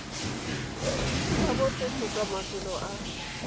la botlhe kgotsa mafelo a